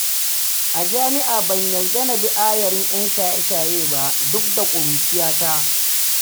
A jam'ia ban yarda na bi ayarin 'yan shaye-shaye ba duk da ƙuruciyata